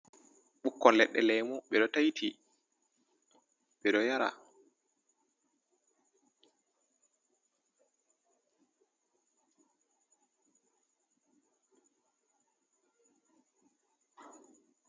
Ɓukkon ledde lemu ɓeɗo tayti ɓeɗo yara.